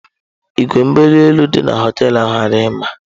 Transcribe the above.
Igwe mbuli elu dị na họteelu ahụ adịghị mma.